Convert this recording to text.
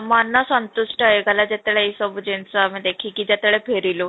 ମନ ସନ୍ତୁଷ୍ଟ ହେଇଗଲା ହେଇଗଲା ଯେତେବେଳେ ଏଇ ସବୁ ଜିନିଷ ଦେଖିକି ଯେତେବେଳେ ଆମେ ଫେରିଲୁ